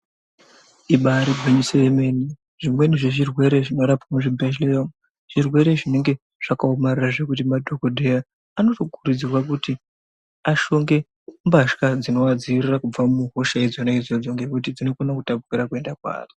Imbaari gwinyiso yemene, zvimweni zvezvirwere zvinorapiwa muzvibhedhlera umu zvirwere zvinenge zvakaomarara zvekuti madhogodheya anotokurudzirwa kuti ashonge mbatya dzinoadziirira kubva muhosha idzona idzodzo, ngekuti dzinokona kutapukira kuende kweari.